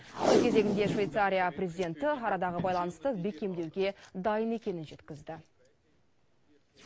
өз кезегінде швейцария президенті арадағы байланысты бекемдеуге дайын екенін жеткізді